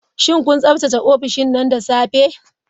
Shin kun tsaftace ofishin nan da safe?